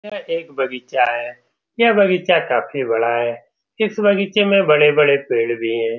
यह एक बगीचा है यह बगीचा काफी बड़ा है इस बगीचे में बड़े-बड़े पेड़ भी हैं ।